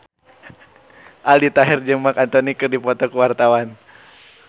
Aldi Taher jeung Marc Anthony keur dipoto ku wartawan